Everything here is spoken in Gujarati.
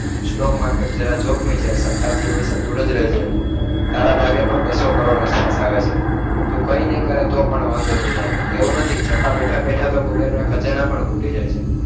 stock market જરા જોખમી છે સટાથી હમેશા દૂર જ રેજે તારા ભાગે પણ બસો કરોડ આસપાસ આવે છે તું કઈનઇ કરે તો પણ વાંધો નઇ આવે એવું નથી છતાં બેઠા બેઠા તો કબરના ખજાના પણ ખૂટી જાય છે